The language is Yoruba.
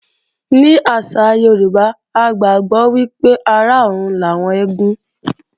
Ní àṣà Yorùbá, a gbàgbọ́ wípé ará ọrùn làwọn eégún